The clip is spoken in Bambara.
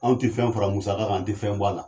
Anw tɛ fɛn fara musaga kan an tɛ fɛn b'a la.